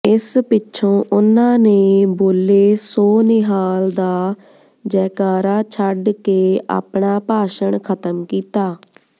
ਇਸ ਪਿੱਛੋਂ ਉਨ੍ਹਾਂ ਨੇ ਬੋਲੇ ਸੋ ਨਿਹਾਲ ਦਾ ਜੈਕਾਰਾ ਛੱਡ ਕੇ ਆਪਣਾ ਭਾਸ਼ਣ ਖ਼ਤਮ ਕੀਤਾ